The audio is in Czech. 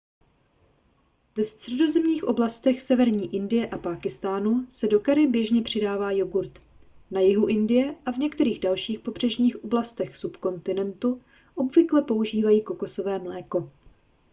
ve středozemních oblastech severní indie a pákistánu se do curry běžně přidává jogurt na jihu indie a v některých dalších pobřežních oblastech subkontinentu obvykle používají kokosové mléko